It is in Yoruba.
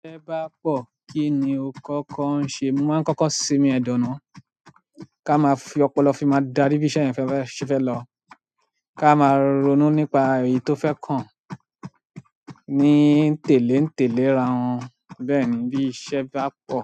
Bí iṣẹ́ bá pọ̀, kí ni o kọ́kọ́ ń ṣe? Mo máa kọ́kọ́ sinmi ẹ̀dọ na ka máa fi ọpọlọ fi máa darí bí iṣẹ́ yẹn fẹ́ fẹ́ se fe lọ. Ka máa ronú nípa èyí tó fẹ́ kàn. Ní n telé n telé rá wọn. Bẹ́ẹ̀ni bi iṣẹ́ ba po